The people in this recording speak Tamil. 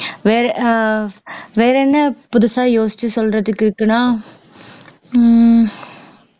வேற ஆஹ் வேற என்ன புதுசா யோசிச்சு சொல்றதுக்கு இருக்குன்னா உம்